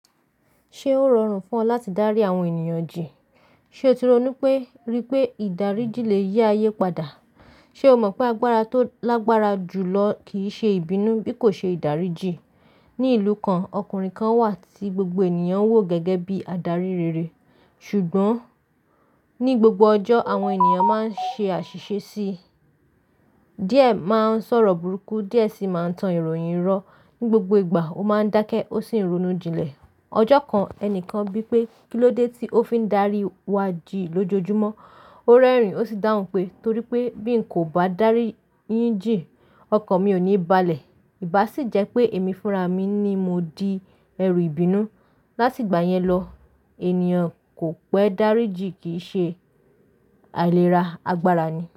Ṣé ó rọrùn fún ọ láti dárí àwọn ènìyàn jìn? Ṣé o ti ronú pé, rí pé ìdáríjì lè yí ayé padà? Ṣe o mọ̀ pé agbára tó lágbára jùlọ kìí ṣe ìbínú bí kò ṣe ìdáríjìn? Ni ìlú kan, ọkùnrin kan wà tí gbogbo ènìyàn wò gẹ́gẹ́ bí adarí rere. Ṣùgbọ́n ní gbogbo ọjọ́, àwọn ènìyàn máa ń ṣe àṣìṣe sí i. Diẹ máa ń sọ̀rọ̀ burúkú, diẹ síi máa ń tan ìròyìn rọ. Ni gbogbo ìgbà, ó máa ń dákẹ́, ó sì ń ronú jinlẹ̀. Ọjọ́ kan, ẹnìkan bí pé "Kí ló dé tí ó fi ń darí wa jì lójoojúmọ́?" Ó rẹ́rìn-ín, ó sì dáhùn pé, "Torí pé bí n kò bá darí yín jì, ọkàn mi ò ní balẹ̀. Ìbá sì jẹ́ pé èmi fúnra mi ni mo di ẹrù ìbínú." Láti ìgbà yẹn lọ, ènìyàn kò pẹ́ darí jì kìí ṣe àìlera, agbára ni.